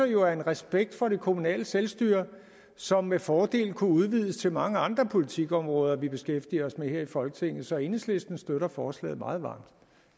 jo af en respekt for det kommunale selvstyre som med fordel kunne udvides til mange andre politikområder vi beskæftiger os med her i folketinget så enhedslisten støtter forslaget meget varmt